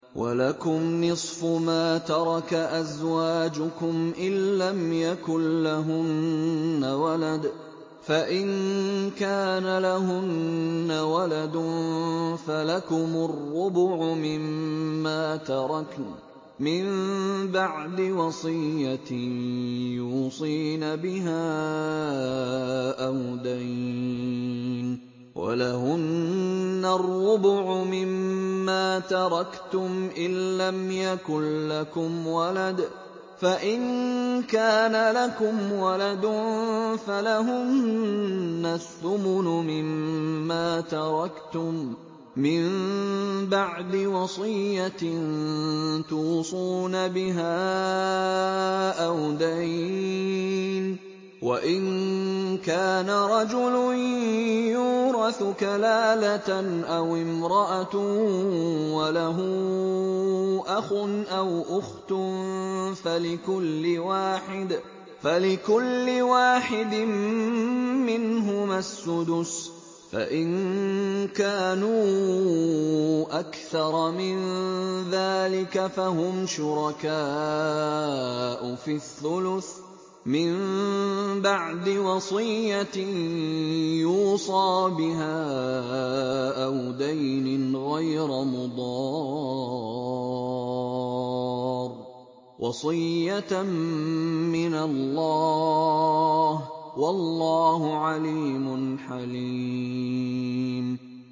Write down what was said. ۞ وَلَكُمْ نِصْفُ مَا تَرَكَ أَزْوَاجُكُمْ إِن لَّمْ يَكُن لَّهُنَّ وَلَدٌ ۚ فَإِن كَانَ لَهُنَّ وَلَدٌ فَلَكُمُ الرُّبُعُ مِمَّا تَرَكْنَ ۚ مِن بَعْدِ وَصِيَّةٍ يُوصِينَ بِهَا أَوْ دَيْنٍ ۚ وَلَهُنَّ الرُّبُعُ مِمَّا تَرَكْتُمْ إِن لَّمْ يَكُن لَّكُمْ وَلَدٌ ۚ فَإِن كَانَ لَكُمْ وَلَدٌ فَلَهُنَّ الثُّمُنُ مِمَّا تَرَكْتُم ۚ مِّن بَعْدِ وَصِيَّةٍ تُوصُونَ بِهَا أَوْ دَيْنٍ ۗ وَإِن كَانَ رَجُلٌ يُورَثُ كَلَالَةً أَوِ امْرَأَةٌ وَلَهُ أَخٌ أَوْ أُخْتٌ فَلِكُلِّ وَاحِدٍ مِّنْهُمَا السُّدُسُ ۚ فَإِن كَانُوا أَكْثَرَ مِن ذَٰلِكَ فَهُمْ شُرَكَاءُ فِي الثُّلُثِ ۚ مِن بَعْدِ وَصِيَّةٍ يُوصَىٰ بِهَا أَوْ دَيْنٍ غَيْرَ مُضَارٍّ ۚ وَصِيَّةً مِّنَ اللَّهِ ۗ وَاللَّهُ عَلِيمٌ حَلِيمٌ